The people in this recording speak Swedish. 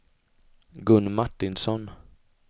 Gun Martinsson